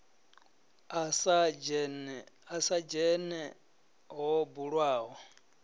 a sa dzhene ho bulwaho